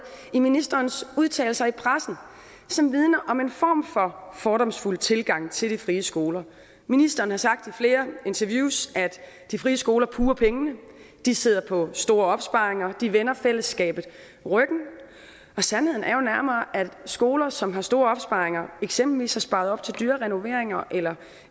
i ministerens udtalelser i pressen som vidner om en form for fordomsfuld tilgang til de frie skoler ministeren har sagt i flere interviews at de frie skoler puger pengene de sidder på store opsparinger de vender fællesskabet ryggen og sandheden er jo nærmere at skoler som har store opsparinger eksempelvis har sparet op til dyre renoveringer eller